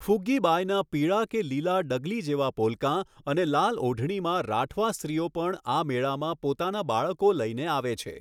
ફૂગ્ગી બાયના પીળા કે લીલા ડગલી જેવા પોલકાં અને લાલ ઓઢણીમાં રાઠવા સ્ત્રીઓ પણ આ મેળામાં પોતાનાં બાળકો લઈને આવે છે.